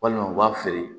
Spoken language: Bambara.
Walima u b'a feere